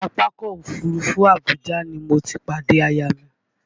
Pápákọ̀ Òfurufú Abuja ni mo ti pàdé aya mi